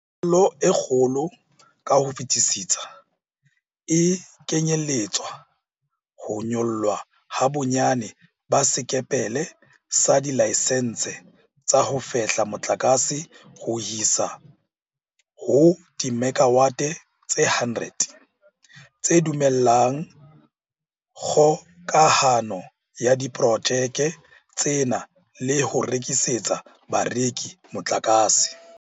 Phihlello e kgolo ka ho fetisisa e kenyeletsa ho nyollwa ha bonyane ba sekepele sa dilaesense tsa ho fehla motlakase ho isa ho dimekawate tse 100, tse dumellang kgokahano ya diporojeke tsena le ho rekisetsa bareki motlakase.